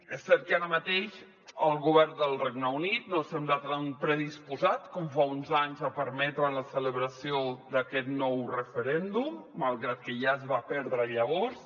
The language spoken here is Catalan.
és cert que ara mateix el govern del regne unit no sembla tan predisposat com fa uns anys a permetre la celebració d’aquest nou referèndum malgrat que ja es va perdre llavors